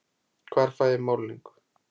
Hvar fæ ég málningu?